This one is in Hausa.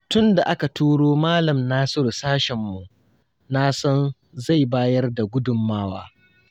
Tun da aka turo malam Nasiru sashenmu, na san zai bayar da gudunmawa.